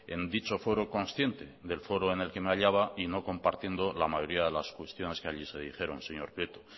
en dicho foro consciente del foro en el que me hallaba y no compartiendo la mayoría de las cuestiones que allí se dijeron señor prieto